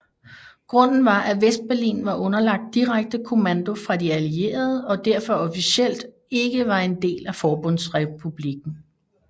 Grunden var at Vestberlin var underlagt direkte kommando fra de allierede og derfor officielt ikke var del af Forbundsrepublikken